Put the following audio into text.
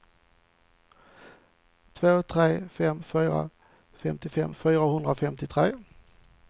två tre fem fyra femtiofem fyrahundrafemtiotre